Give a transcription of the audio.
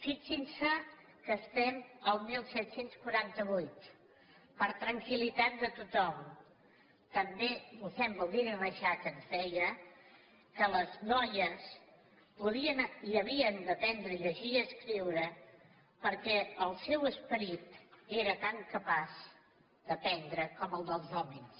fixinse que estem al disset quaranta vuit per a tranquil·litat de tothom també mossèn baldiri reixac ens deia que les noies podien i havien d’aprendre a llegir i escriure perquè el seu esperit era tan capaç d’aprendre com el dels hòmens